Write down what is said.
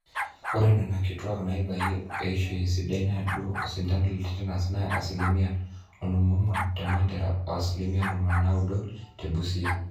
ore nena kitwaak naabayie eishoi esidai neudo osindano le tetenas naa asilimia onom oong'wan te mandera o asilimia ntomoni naaudo oare te busia